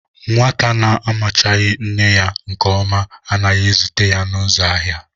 Nwata na-amachaghị nne ya nke ọma anaghi ezute ya n'uzo ahia